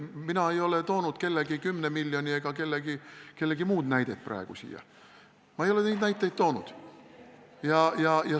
Mina ei ole toonud kellegi 10 miljoni näidet praegu siia.